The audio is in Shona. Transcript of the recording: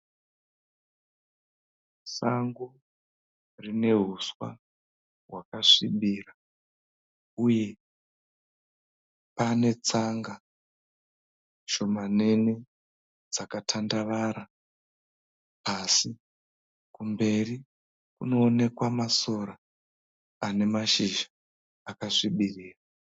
Sango rine huswa hwakasvibira uye pane tsanga shomanene dzakatandavara asi kumberi kunoonekwa masora ane mashizha akasvibira .